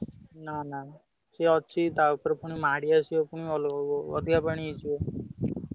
ନା ନା ସିଏ ଅଛି, ତା ଉପରେ ପୁଣି ମାଢି ଆସିବ ପୁଣି ଅଧିକା ପାଣି ହେଇଯିବ।